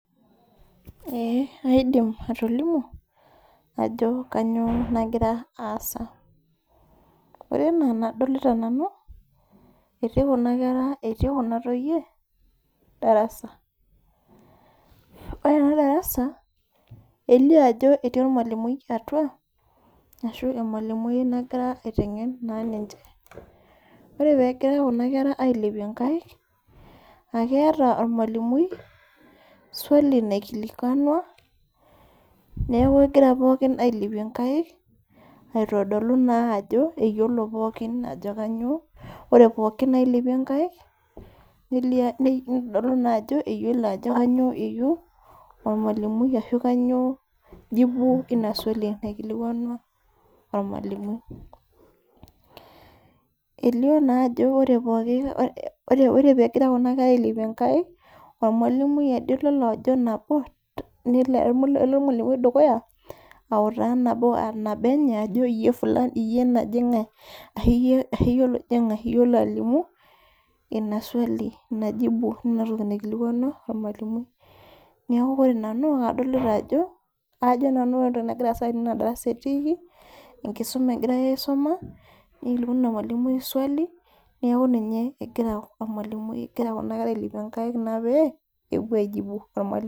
Kaidim atolimu ajo kanyio nagira aasa ore enaenarolita nanu etii kuna toyie darasa ore enadarasa elio ajo etii ormalimui atua ashu emalimui nagirai aitengen ninche ore pegira kuna kera ailepie nkaik akeeta ormalimui swali naikilikwanua neaku egira pooki ailepie nkaik aitodolu naa ajo eyiolo pooki ore polki nailepie nkaik nitodolui ajo eyiolo ajo kanyio eyieu ormalimui ashu kanyio jibu inaaswali naikilikwanua ormalimui elio naa ajo ore pegira kuna kera ailepie nkaik ormalimui ade olo ajo nabo nelo dukuya auta nabo enye aajo iyie naji ngae iyolo alimu inaaswali inatoki naikilikwanua ormalimui neaku ore nanu adolta ajo enkisuma etiiki egirai aisuma mikilikwanu emalimui swali neaku ninye egira kuna kera ailepie nkaik pepuo aijinu ormalimui.